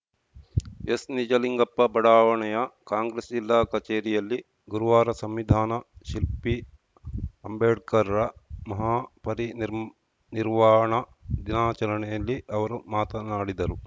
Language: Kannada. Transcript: ಎಸ್‌ನಿಜಲಿಂಗಪ್ಪ ಬಡಾವಣೆಯ ಕಾಂಗ್ರೆಸ್‌ ಜಿಲ್ಲಾ ಕಚೇರಿಯಲ್ಲಿ ಗುರುವಾರ ಸಂವಿಧಾನ ಶಿಲ್ಪಿ ಅಂಬೇಡ್ಕರ್‌ರ ಮಹಾ ಪರಿನಿರ್ವಾಣ ದಿನಾಚರಣೆಯಲ್ಲಿ ಅವರು ಮಾತನಾಡಿದರು